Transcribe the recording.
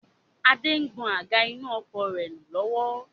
Adé ń gbọn àga inú ọkọ̀ rẹ nù lọ́wọ́